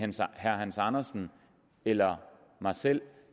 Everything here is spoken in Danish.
herre hans andersen eller mig selv